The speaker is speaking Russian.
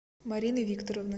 марины викторовны